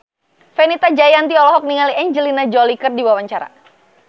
Fenita Jayanti olohok ningali Angelina Jolie keur diwawancara